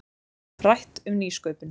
Rætt um nýsköpun